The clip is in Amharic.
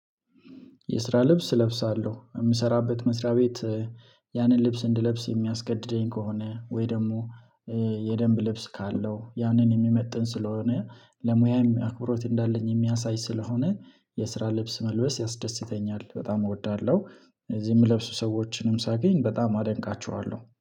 የስራ ልብስ እለብሳለሁ የምሰራበት መስሪያ ቤት ያንን ልብስ እንድለብስ የሚያስገድደኝ ስሰከሆነ ወይ ደግሞ የደንብ ልብስ ካለው ያንን የሚመጥን ስለሆነ ለሙያም አክብሮት እንዳለኝ የሚያሳይ ስለሆነ የስራ ልብስ መልበስ ያስደስተኛል በጣም እወዳለሁ። እዚህ የምለብሱ ሰዎችንም ሳገኝ በጣም አደንቃቸዋለሁ